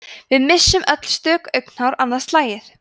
við missum öll stök augnhár annað slagið